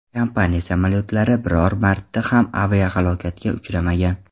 Kompaniya samolyotlari biror marta ham aviahalokatga uchramagan.